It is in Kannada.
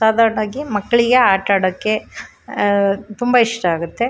ಸಾದರ್ ಟಾಕಿ ಮಕ್ಕಳಿಗೆ ಆಟ ಆಡಕ್ಕೆ ಅಹ್ ತುಂಬಾ ಇಷ್ಟ ಆಗುತ್ತೆ.